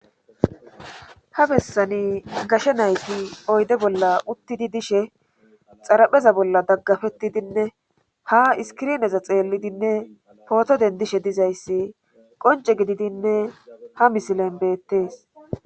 ha bessani gashe nayti oyde bolla uttidi dishe xarapheza bolla daggafettidinne ha iskirineza xeellidinne pootoden dishe dizayssi qonce gididinne ha misilen beettees